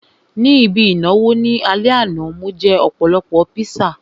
Ní ibi ìnáwó ní alẹ́ àná, mo jẹ́ ọ̀pọ̀lọpọ̀ píṣà